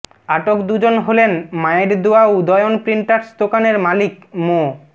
আটক দুজন হলেন মায়ের দোয়া উদয়ন প্রিন্টার্স দোকানের মালিক মো